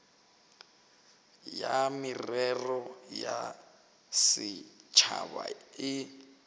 ya merero ya setšhaba e